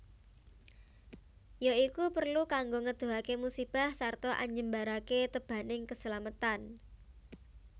Ya iku perlu kanggo ngedohake musibah sarta anjembarake tebaning keslametan